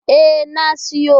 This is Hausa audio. E, na siyo.